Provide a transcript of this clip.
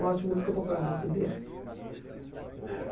Gosto de música popular brasileira. E na época